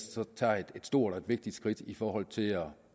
stort og vigtigt skridt i forhold til at